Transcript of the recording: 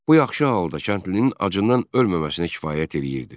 Bu yaxşı halda kəndlinin acından ölməməsinə kifayət eləyirdi.